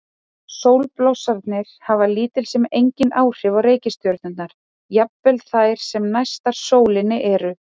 Sólblossarnir hafa lítil sem engin áhrif á reikistjörnurnar, jafnvel þær sem næstar sólinni eru.